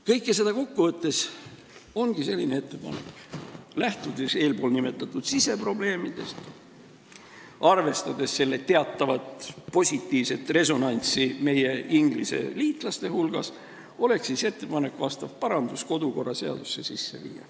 Kõike seda kokku võttes ongi selline ettepanek: lähtudes eespool nimetatud siseprobleemidest ja arvestades teatavat positiivset resonantsi meie Inglise liitlaste hulgas, oleks ettepanek vastav parandus kodukorraseadusesse sisse viia.